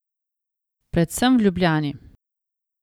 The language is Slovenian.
Predvsem v Ljubljani.